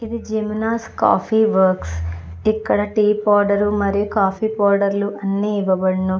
ఇది జిమినాస్ coffee works ఇక్కడ టీ పౌడర్ మరియు కాఫీ పౌడర్ లు అన్నీ ఇవ్వబడును.